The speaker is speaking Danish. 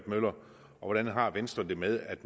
møller og hvordan har venstre det med at